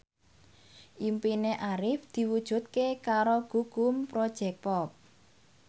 impine Arif diwujudke karo Gugum Project Pop